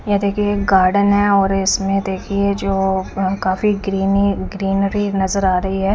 याहा देखिये एक गार्डन है और इसमें देखिये जो हम काफी ग्रीनि ग्रीन री नजारआ रही है।